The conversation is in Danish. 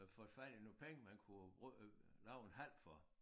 Øh fået fat i nogle penge man kunne bruge øh lave en hal for